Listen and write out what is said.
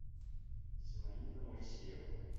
зинаида моисеева